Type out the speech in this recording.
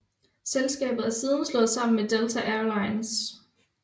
Selskabet er siden slået sammen med Delta Air Lines